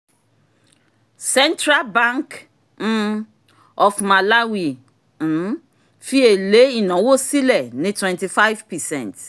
central bank um of malawi um fi èlé ìnáwó sílẹ̀ ní 25 percent